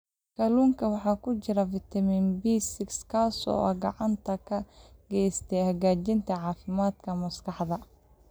Kalluunka waxaa ku jira fitamiin B6 kaas oo gacan ka geysta hagaajinta caafimaadka maskaxda.